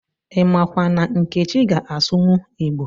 imakwa na nkechi ga-asụwu Igbo